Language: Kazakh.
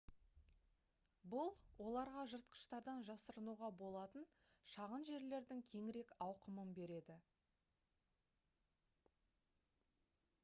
бұл оларға жыртқыштардан жасырынуға болатын шағын жерлердің кеңірек ауқымын береді